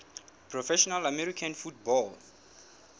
professional american football